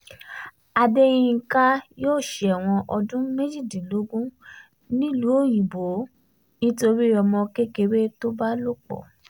adeyinka um yóò ṣẹ̀wọ̀n ọdún méjìdínlógún nílùú òyìnbó nítorí ọmọ kékeré um tó ń bá lò pọ̀